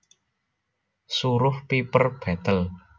Suruh Piper betle